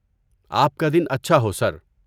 آپ کا دن اچھا ہو، سر!